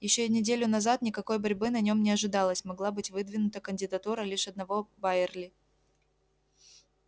ещё и неделю назад никакой борьбы на нём не ожидалось могла быть выдвинута кандидатура лишь одного байерли